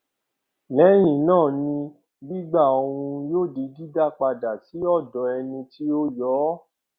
lẹhìn náà ni gbígbà ọhún yóò di dídá padà sí ọdọ ẹni tí ó yọ ọ